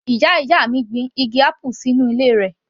Ìyá ìyá mi gbin igi apple sínú ilé rẹ̀